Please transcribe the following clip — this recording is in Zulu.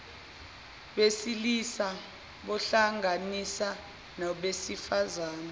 besilisa buhlanganisa nobesifazane